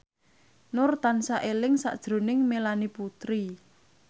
Nur tansah eling sakjroning Melanie Putri